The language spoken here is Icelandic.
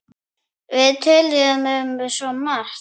Við töluðum um svo margt.